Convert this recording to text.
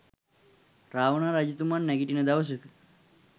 රාවණා රජතුමන් නැඟිටින දවසක